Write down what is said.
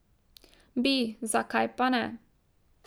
Bi, zakaj pa ne?